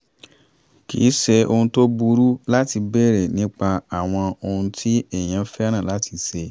kì í ṣe ohun tó burú láti béèrè nípa àwọn ohun tí èèyàn fẹ́ràn láti ṣe